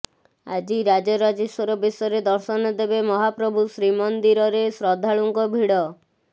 ଆଜି ରାଜରାଜେଶ୍ୱର ବେଶରେ ଦର୍ଶନ ଦେବେ ମହାପ୍ରଭୁ ଶ୍ରୀ ମନ୍ଦିରରେ ଶ୍ରଦ୍ଧାଳୁଙ୍କ ଭିଡ଼